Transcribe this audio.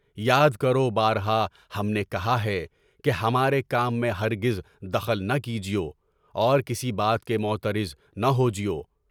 یاد کرو بارہ! ہم نے کہا ہے کہ ہمارے کام میں ہر گز دخل نہ کیجیے، اور کسی بات کے معترض نہ ہوجیے۔